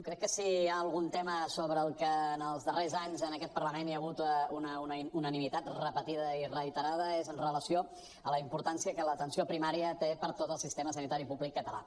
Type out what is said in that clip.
crec que si hi ha algun tema sobre el qual els darrers anys en aquest parlament hi ha hagut una unanimitat repetida i reiterada és amb relació a la importància que l’atenció primària té per a tot el sistema sanitari públic català